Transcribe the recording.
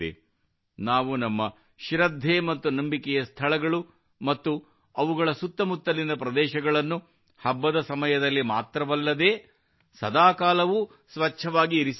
ನಾವು ನಮ್ಮ ಶ್ರದ್ಧೆ ಮತ್ತು ನಂಬಿಕೆಯ ಸ್ಥಳಗಳು ಮತ್ತು ಅವುಗಳ ಸುತ್ತಮುತ್ತಲಿನ ಪ್ರದೇಶಗಳನ್ನು ಹಬ್ಬದ ಸಮಯದಲ್ಲಿ ಮಾತ್ರವಲ್ಲದೇ ಸದಾ ಕಾಲವೂ ಸ್ವಚ್ಛವಾಗಿ ಇರಿಸಿಕೊಳ್ಳಬೇಕು